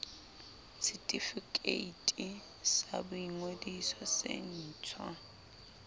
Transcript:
setefikeiti sa boingodiso se ntshwa